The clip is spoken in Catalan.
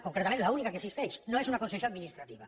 concretament l’única que existeix no és una concessió administrativa